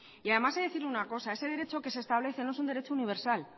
y además he de decirle una cosa ese derecho que se establece no es un derecho universal